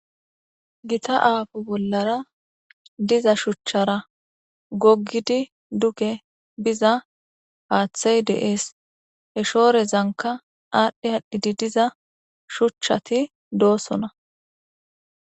gita aafo bollara diza shuchchara goggidi duge biza paaththey deees he shoorezanka aadhdhe haadhdhidi diza shuchchati doosona